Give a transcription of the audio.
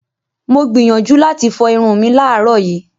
Mo gbìyànjú láti fọ irun mi láàárọ̀ yìí.